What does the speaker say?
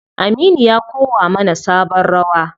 Aminu ya kowa mana sabon rawa.